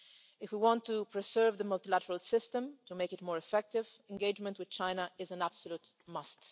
If we want to preserve the multilateral system and make it more effective, engagement with China is an absolute must.